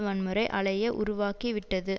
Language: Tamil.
வன்முறை அலைய உருவாக்கிவிட்டது